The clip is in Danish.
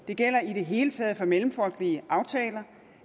det gælder i det hele taget for mellemfolkelige aftaler